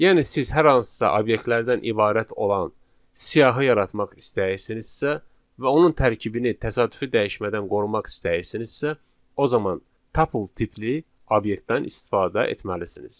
Yəni siz hər hansısa obyektlərdən ibarət olan siyahı yaratmaq istəyirsinizsə və onun tərkibini təsadüfü dəyişmədən qorumaq istəyirsinizsə, o zaman tuple tipli obyektdən istifadə etməlisiniz.